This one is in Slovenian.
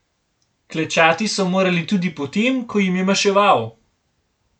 Klečati so morali tudi potem, ko jim je maševal.